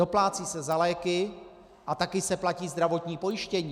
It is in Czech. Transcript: Doplácí se za léky a také se platí zdravotní pojištění.